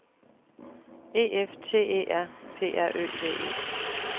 E F T E R P R Ø V E